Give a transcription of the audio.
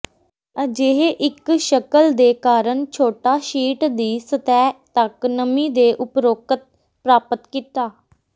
ਅਜਿਹੇ ਇੱਕ ਸ਼ਕਲ ਦੇ ਕਾਰਨ ਛੋਟਾ ਸ਼ੀਟ ਦੀ ਸਤਹ ਤੱਕ ਨਮੀ ਦੇ ਉਪਰੋਕਤ ਪ੍ਰਾਪਤ ਕੀਤਾ